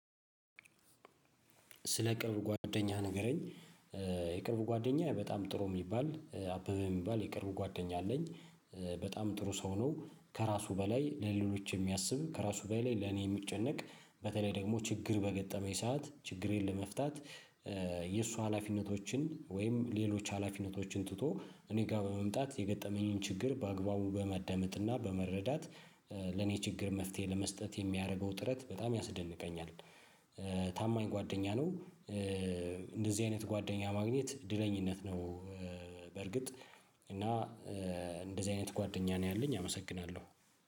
ስለ ቅርብ ጓደኛህ ንገረኝ። የቅርብ ጓደኛ በጣም ጥሩ የሚባል አበበ የሚባል የቅርብ ጓደኛ አለኝ። በጣም ጥሩ ሰው ነው ከራሱ በላይ ለሌሎች የሚያስብ ከራሱ በላይ ለኔ የሚጨነቅ በተለይ ደግሞ ችግር በገጠመኝ ሰዓት ችግሬን ለመፍታት የእሱ ሀላፊነቶችን ወይም ሌሎች ሀላፊነቶችን ትቶ እኔ ጋር በመምጣት የገጠመኝን ችግር በአግባቡ በማዳመጥና በመረዳት። ለኔ ችግር መፍትሄ ለመስጠት የሚያደርገው ጥረት በጣም ያስደንቀኛል። ታማኝ ጓደኛ ነው። እንደዚህ አይነት ጓደኛ ማግኘት ድለኝነት ነው። በርግጥ እና እንደዚህ አይነት ጓደኛ ነው ያለኝ አመሰግናለሁ